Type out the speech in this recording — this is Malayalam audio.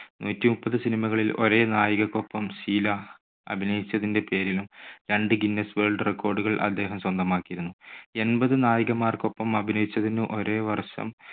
നൂറ്റിമുപ്പത് cinema കളിൽ ഒരേ നായികയ്ക്കൊപ്പം ഷീല അഭിനയിച്ചിതിന്റെ പേരിലും രണ്ട് guinness world record കൾ അദ്ദേഹം സ്വന്തമാക്കിയിരുന്നു. എൺപത് നായികമാർക്കൊപ്പം അഭിനയിച്ചതിനും ഒരേ വർഷം